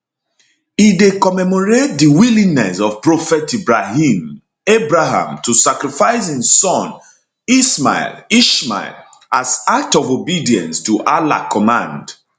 e dey commemorate di willingness of prophet ibrahim abraham to sacrifice im son ismail ishmael as act of obedience to allah command